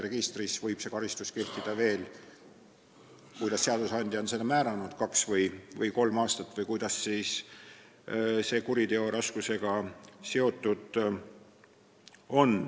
Registris võib karistus kehtida veel, oleneb sellest, kuidas seadusandja on määranud, kaks või kolm aastat, see on seotud kuriteo raskusega.